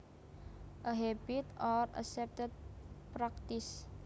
A habit or accepted practice